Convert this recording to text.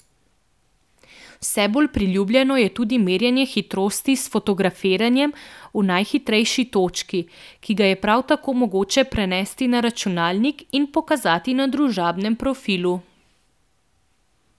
Vse bolj priljubljeno je tudi merjenje hitrosti s fotografiranjem v najhitrejši točki, ki ga je prav tako mogoče prenesti na računalnik in pokazati na družabnem profilu.